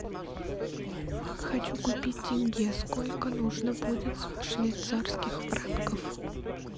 хочу купить тенге сколько нужно будет швейцарских франков